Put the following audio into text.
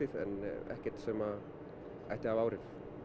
en ekkert sem að ætti að hafa áhrif